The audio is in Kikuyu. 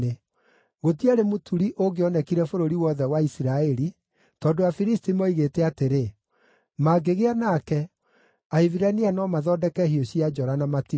Gũtiarĩ mũturi ũngĩonekire bũrũri wothe wa Isiraeli, tondũ Afilisti moigĩte atĩrĩ, “Mangĩgĩa nake, Ahibirania no mathondeke hiũ cia njora na matimũ!”